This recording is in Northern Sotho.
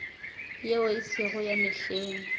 yeo e sego ya mehleng